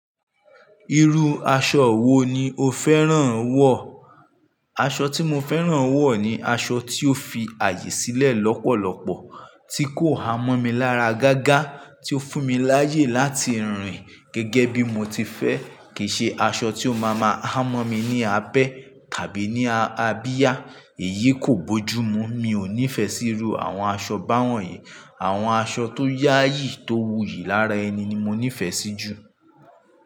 Irú aṣọ wo ni o fẹ́ràn wọ̀? Aṣọ tí mo fẹ́ràn wọ̀ ni aṣọ tí ó fi ààyè sílẹ̀ lọ́pọ̀lọpọ̀, tí kò há mọ́ mi lára gágá, tí ó fún mi láyè láti rìn gẹ́gẹ́ bí mo ti fẹ́. Kì í ṣe aṣọ tí ó máa máa hámọ́ mi ní abẹ́ tàbí ní abiyá. Èyí kò bójú mú. Mi ò nífẹ̀ẹ́ sí irú àwọn aṣọ báwọ̀nyí. Àwọn aṣọ tó yáyì, tó wuyì lára ẹni ni mo nífẹ́ sí jù.